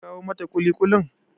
Kin kawo mata ƙuliƙulin?